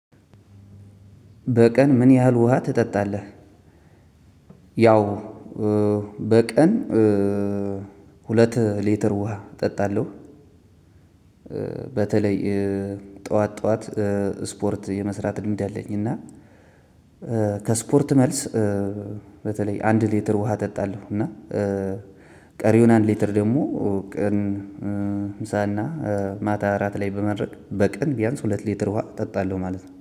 በቀን ምን ያህል ውሃ ትጠጣለህ? ያው በቀን ሁለት ሌትር ውሃ እጠጣለሁ። በተለይ ጠዋት ጠዋት ስፖርት የመስራት ልምድ አለኝ። እና ከስፖርት መልስ በተለይ አንድ ሊትር ውሃ እጠጣለሁ። እና ቀሪውን አንድ ሊትር ደግሞ ቀን ምሳና ማታ እራት ላይ በመድረክ በቀን ቢያንስ ሁለት ሊትር ውሃ እጠጣለሁ። ማለት ነው